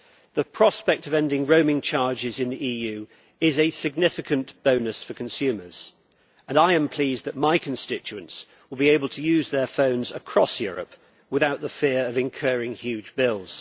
The prospect of ending roaming charges in the EU is a significant bonus for consumers, and I am pleased that my constituents will be able to use their phones across Europe without the fear of incurring huge bills.